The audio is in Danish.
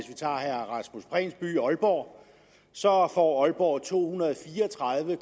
aalborg så får aalborg to hundrede og fire og tredive